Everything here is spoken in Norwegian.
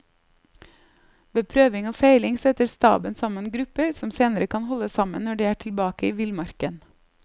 Ved prøving og feiling setter staben sammen grupper som senere kan holde sammen når de er tilbake i villmarken.